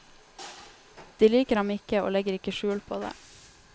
De liker ham ikke, og legger ikke skjul på det.